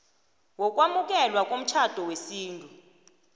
wokwamukelwa komtjhado wesintu